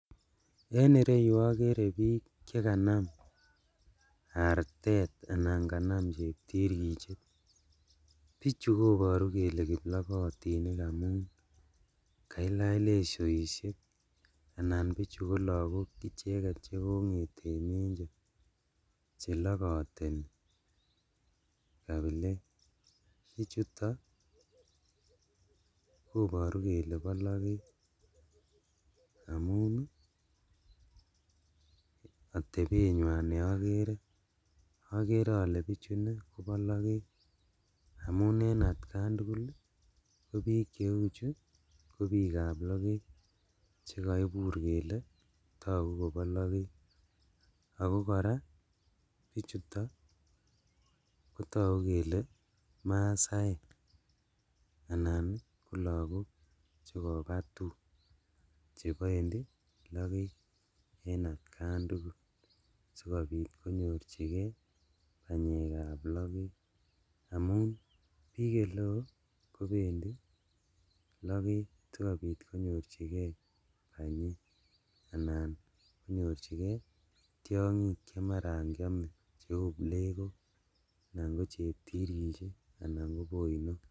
En ireyuu okere bik chekanam artet anan kanam cheptirkichet. Bichu koboru kele kiplobotinik amun kailach lesoishek anan bichu ko lokok ichet chekonget en mencho chelokoteni kapilet, bichuton koboru kele bolotet amun nii otepenywan ne okere okere ole bichuu inee Kobo loket amun en atkan tukul ko bik cheuchu ko bikab loket chekoibur kele toku Kobo loket. Ako Koraa bichuton kotoku kele masaiek anan ko lokok chekoba Tum chependii loket en atkan tukul sikopit konyorchigee panyekab loket amun bik oleo kopendii loket sikopit konyorchigee panyek ana konyorchigee tyonkik che maran kiome cheu plekok anan ko cheptirikchet anan ko boino.